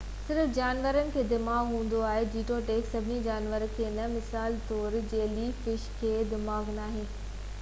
صرف جانورن کي دماغ هوندو آهي جيتوڻڪ سڀئي جانور کي نہ؛ مثال طور جيلي فش، کي دماغ ناهي